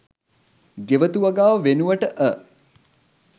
ගෙවතු වගාව වෙනුවට අ